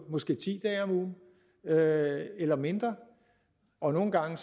måske ti dage eller mindre og nogle gange